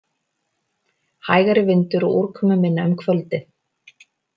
Hægari vindur og úrkomuminna um kvöldið